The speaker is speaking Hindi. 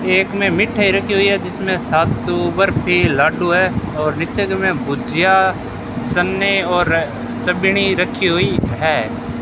खेत में मिठाई रखी हुई है जिसमें सत्तू बर्फी लड्डू हैं और नीचे जो में भुजिया चन्ने और रखी हुई है।